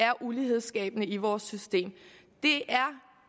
er ulighedsskabende i vores system det er